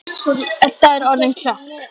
Edda er orðin klökk.